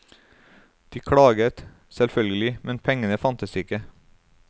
De klaget, selvfølgelig, men pengene fantes ikke.